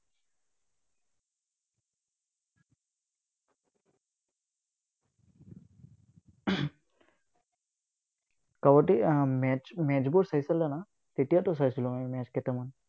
কাবাডী আহ match বোৰ চাইছিলা না, তেতিয়াটো চাইছিলো আমি match কেইটামান।